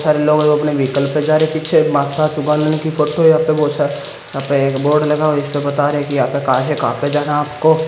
Sir लोग अपने vehicle पे जा रहे हैं पीछे माता की फोटो है यहां पे एक बोर्ड लगा हुआ है जिसमें बता रहे कहां से कहां तक जाना है आपको।